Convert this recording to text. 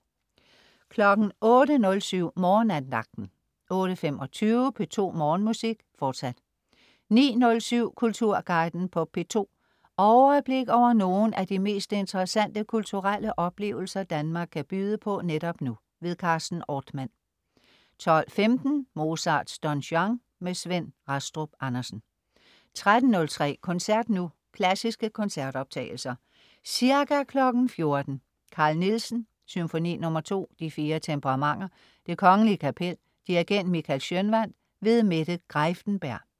08.07 Morgenandagten 08.25 P2 Morgenmusik. Fortsat 09.07 Kulturguiden på P2. Overblik over nogle af de mest interessante kulturelle oplevelser, Danmark kan byde på netop nu. Carsten Ortmann 12.15 Mozarts Don Juan. Svend Rastrup Andersen 13.03 Koncert nu. Klassiske koncertoptagelser Ca. 14.00 Carl Nielsen: Symfoni nr. 2, De fire temperamenter. Det Kgl. Kapel. Dirigent: Michael Schønwandt. Mette Greiffenberg